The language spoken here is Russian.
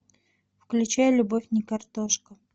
включай любовь не картошка